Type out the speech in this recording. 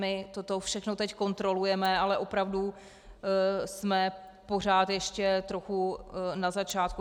My toto všechno teď kontrolujeme, ale opravdu jsme pořád ještě trochu na začátku.